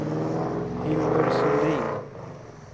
Hilmer Sundin